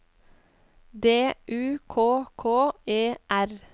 D U K K E R